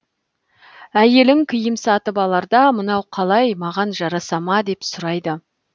әйелің киім сатып аларда мынау қалай маған жараса ма деп сұрайды